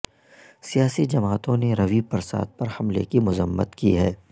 سیاسی جماعتوں نے روی پرساد پر حملے کی مذمت کی ہے